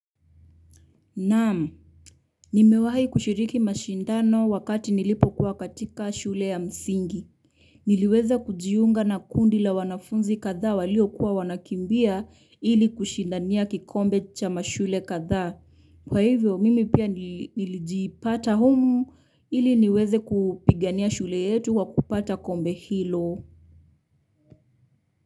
Naam. Nimewahi kushiriki mashindano wakati nilipokuwa katika shule ya msingi. Niliweza kujiunga na kundi la wanafunzi kadhaa waliokuwa wanakimbia ili kushindania kikombe cha mashule kadhaa. Kwa hivyo mimi pia nilijipata humu ili niweze kupigania shule yetu kwa kupata kombe hilo.